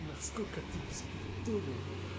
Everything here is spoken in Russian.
насколько ты бескультурен